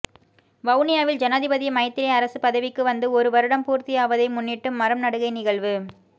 வவுனியாவில் ஜனாதிபதி மைத்திரி அரசு பதவிக்கு வந்து ஒரு வருடம் பூர்த்தியாவதை முன்னிட்டு மரம் நடுகை நிகழ்வு